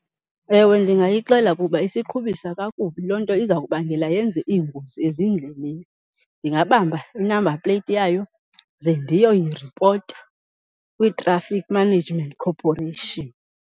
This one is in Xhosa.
Ewe ndingayixela kuba isiqhubisa kakubi, loo nto izawubangela yenze iingozi ezindleleni. Ndingabamba i-number plate yayo ze ndiyoyiripota kwi-Traffic Management Corporation.